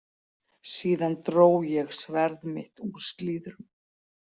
Síðan dró ég sverð mitt úr slíðrum.